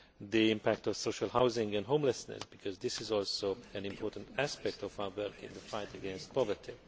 the impact of social housing and homelessness, because this is also an important aspect of our work in the fight against poverty.